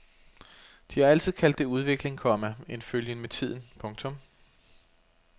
De har altid kaldt det udvikling, komma en følgen med tiden. punktum